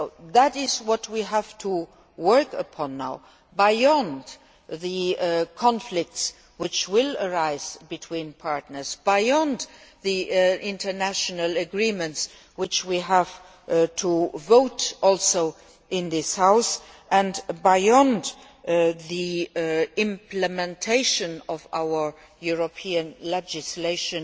That is what we have to work on now, beyond the conflicts which will arise between partners, beyond the international agreements which we have to vote on in this House and beyond the implementation of our European legislation